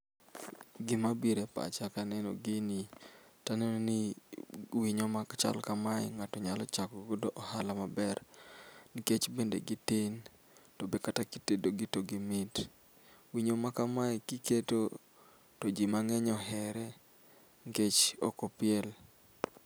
Gima bire epacha ka aneno gini to anenoni winyo mak chal kamae ng'ato nyalo chako gado ohala maber nikech bende gitin. To be kata kitedogi togi mit winyo makamae kiketo to ji mang'eny ohere nikech ok opiel.